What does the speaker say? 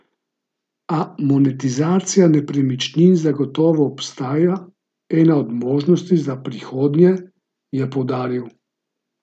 A monetizacija nepremičnin zagotovo ostaja ena od možnosti za prihodnje, je poudaril.